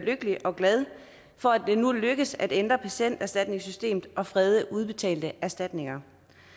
lykkelig og glad for at det nu lykkes at ændre patienterstatningssystemet og frede udbetalte erstatninger